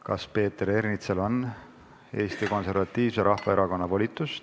Kas Peeter Ernitsal on Eesti Konservatiivse Rahvaerakonna volitus?